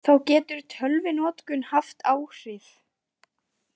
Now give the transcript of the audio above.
Þá getur tölvunotkun haft áhrif.